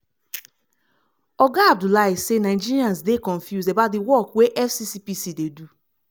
oga abdullahi say nigerians dey confuse about di work wey fccpc dey do.